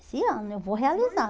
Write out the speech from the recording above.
Esse ano eu vou realizar.